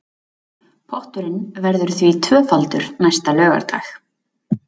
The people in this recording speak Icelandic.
Potturinn verður því tvöfaldur næsta laugardag